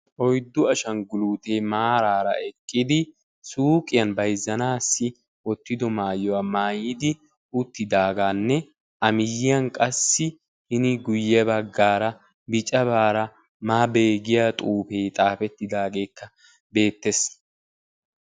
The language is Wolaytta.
4u ashanguluute maaraara eqqidi suuqqiyan bayzzanassi wottiddo maayuwa maayidi uttidaagaanne a miyiyani qassi hini guye baggaara biccabaara maabe giya xuufee xaafettidaageekka beettees.